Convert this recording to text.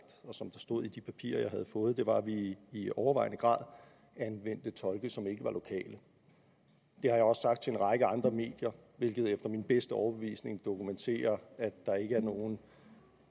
og som stod i de papirer jeg havde fået var at vi i i overvejende grad anvendte tolke som ikke var lokale det har jeg også sagt til en række andre medier hvilket efter min bedste overbevisning dokumenterer at der ikke er nogen